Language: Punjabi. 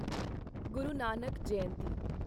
ਗੁਰੂ ਨਾਨਕ ਜਯੰਤੀ